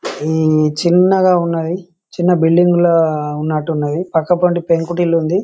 ఈ చిన్నగా ఉన్నది చిన్న బిల్డింగ్ లో ఉన్నట్టున్నది పక్క పంటి పెంకుటిల్లు ఉంది